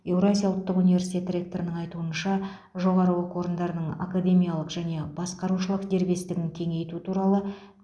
еуразия ұлттық универстиеті ректорының айтуынша жоғары оқу орындарының академиялық және басқарушылық дербестігін кеңейту туралы